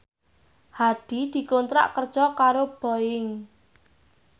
Hadi dikontrak kerja karo Boeing